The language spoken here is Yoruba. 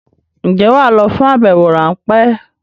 Ǹjẹ́ wà á lọ fún àbẹwò ráńpẹ́?